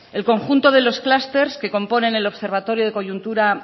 el conjunto de los clúster que componen el observatorio de coyuntura